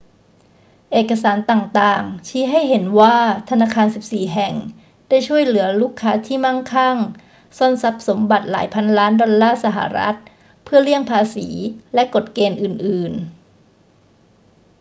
เอกสารต่าง ๆ ชี้ให้เห็นว่าธนาคาร 14 แห่งได้ช่วยเหลือลูกค้าที่มั่งคั่งซ่อนทรัพย์สมบัติหลายพันล้านดอลลาร์สหรัฐฯ เพื่อเลี่ยงภาษีและกฎเกณฑ์อื่น ๆ